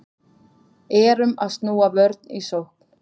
Erum að snúa vörn í sókn